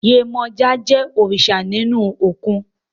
Yemọja je òrìṣà ní inú òkun